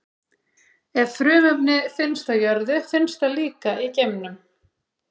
Ef frumefni finnst á jörðu, finnst það líka í geimnum.